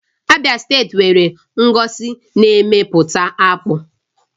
Abịa steeti nwere ngọzi n'eme pụta akpụ